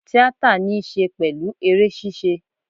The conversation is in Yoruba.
Tíátà ní í ṣe pẹ̀lú eré ṣíṣe